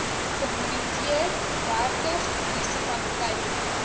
gemoniteer dertig munisipaliteite